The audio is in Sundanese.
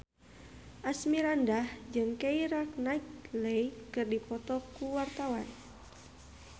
Asmirandah jeung Keira Knightley keur dipoto ku wartawan